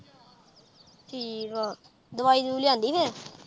ਠੀਕ ਆ ਦਵਾਈ ਦਵਊਈ ਲਿਆਉਂਦੀ ਫਿਰ